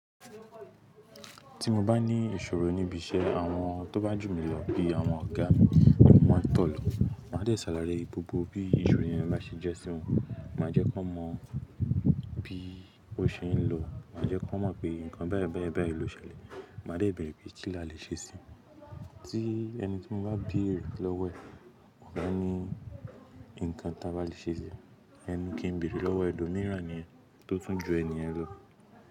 Tí mo bá ní ìṣòro níbi iṣẹ́ àwọn tó bá jù mí lọ bí àwọn ọ̀gá mi, kí wọ́n má tó lọ. Máa dẹ̀ sàlàyé gbogbo bí ìṣòro yẹn bá ṣe jẹ́ sí wọn. Máa jẹ́ kọ́ mọ bí ó ṣe ń lọ. Máa jẹ́ kán mọ̀ pé nǹkan bẹ́ẹ̀ bẹ́ẹ̀ bẹ́ẹ̀ ló ṣẹlẹ̀. Máa dẹ̀ bẹ̀rẹ̀ pé kí la lè ṣe sí i. Tí ẹni tí mo bá bèrè lọ́wọ́ ẹ̀, ọ̀gá ni nǹkan tà bá lè ṣe síì. Ẹnu kí n bèrè lọ́wọ́ ẹlòmíràn nì yẹn tó tún ju ènìyàn lọ.